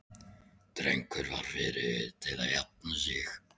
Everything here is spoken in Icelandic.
Drengurinn var fyrri til að jafna sig.